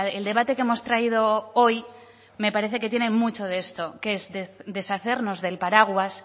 el debate que hemos traído hoy me parece que tiene mucho de esto que es deshacernos del paraguas